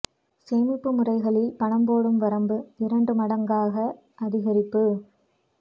சேமிப்பு முறிகளில் பணம் போடும் வரம்பு இரண்டு மடங்காக அதிகரிப்பு